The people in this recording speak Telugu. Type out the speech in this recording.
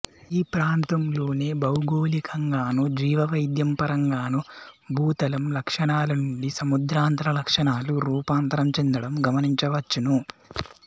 ఈ ప్రాంతలోనే భౌగోళికంగాను జీవ వైవిధ్యం పరంగాను భూతలం లక్షణాలనుండి సముద్రాంతర లక్షణాలు రూపాంతరం చెందడం గమనించవచ్చును